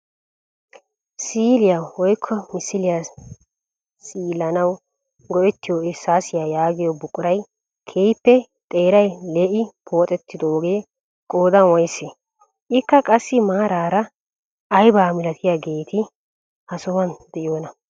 Siiliyaa woykko misiliyaa siilanawu go"ettiyo irssaasiyaa yaagiyo buquray keehippe xeeray lee'i pooxettoogee qoodan woyssee? Ikka qassi meraara aybaa milatiyaageeti ha sohuwaan de'iyoonaaa?